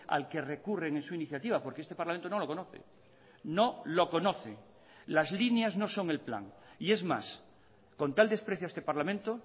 al que recurren en su iniciativa porque este parlamento no lo conoce no lo conoce las líneas no son el plan y es más con tal desprecio a este parlamento